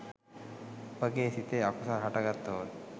අපගේ සිතේ අකුසල් හටගත්තොත්